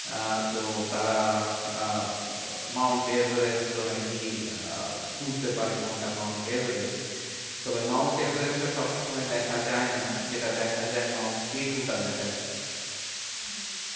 আহ তো তারা আহ মাউন্ট এভারেস্ট ও নাকি আহ বুঝতে পারে কোনটা মাউন্ট এভারেস্ট। তবে মাউন্ট এভারেস্ট টা সবসময় দেখা যায় না। যেটা দেখা যায় মাউন্ট কে টু টা দেখা যায়। হম হম